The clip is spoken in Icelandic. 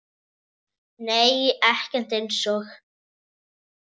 Nei ekkert eins og